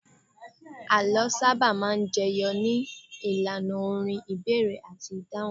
Àlọ́ sábà máa ń jẹyọ ní ìlànà orin, ìbéèrè àti ìdáhùn